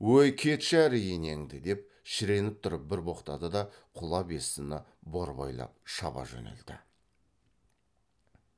өй кетші әрі енеңді деп шіреніп тұрып бір боқтады да құла бестіні борбайлап шаба жөнелді